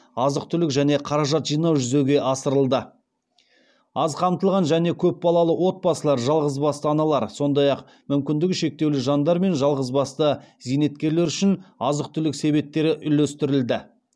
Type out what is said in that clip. азық түлік және қаражат жинау жүзеге асырылды аз қамтылған және көпбалалы отбасылар жалғыз басты аналар сондай ақ мүмкіндігі шектеулі жандар мен жалғыз басты зейнеткерлер үшін азық түлік себеттері үлестірілді